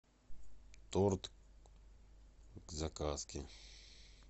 торт к заказке